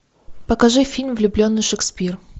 покажи фильм влюбленный шекспир